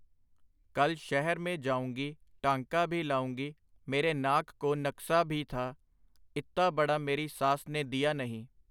ਕੱਲ ਸ਼ਹਿਰ ਮੇਂ ਜਾਉਂਗੀ ਟਾਂਕਾ ਭੀ ਲਾਉਂਗੀ, ਮੇਰੇ ਨਾਕ ਕੋ ਨਕਸਾ ਭੀ ਥਾ, ਇੱਤਾ ਬੜਾ ਮੇਰੀ ਸਾਸ ਨੇ ਦੀਆ ਨਹੀਂ.